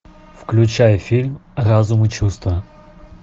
включай фильм разум и чувства